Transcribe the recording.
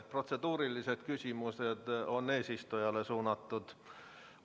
Protseduurilised küsimused on suunatud eesistujale.